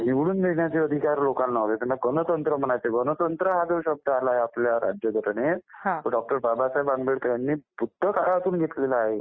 निवडून देण्याचे अधिकार लोकांना होते. त्याला गणतंत्र म्हणायचे. गणतंत्र हा जो शब्द आला आपल्या राज्य घटनेत तो डॉ. बाबासाहेब आंबेडकर ह्यांनी बुद्ध काळातून घेतलेला आहे